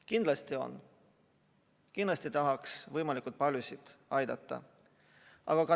Kindlasti on ja kindlasti tahaks võimalikult paljusid aidata.